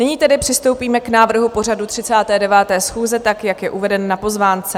Nyní tedy přistoupíme k návrhu pořadu 39. schůze, tak jak je uveden na pozvánce.